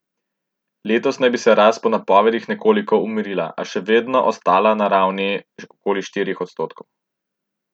Letos naj bi se rast po napovedih nekoliko umirila, a še vedno ostala na ravni okoli štirih odstotkov.